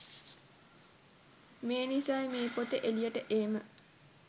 මේනිසයි මේ පොත එළියට ඒම